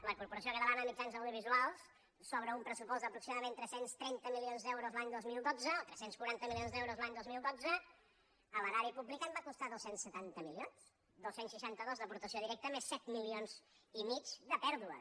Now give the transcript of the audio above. la corporació catalana de mitjans audiovisuals sobre un pressupost d’aproximadament tres cents i trenta milions d’euros l’any dos mil dotze o tres cents i quaranta milions d’euros l’any dos mil dotze a l’erari públic en va costar dos cents i setanta milions dos cents i seixanta dos d’aportació directa més set milions i mig de pèrdues